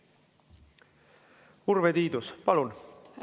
Urve Tiidus, palun!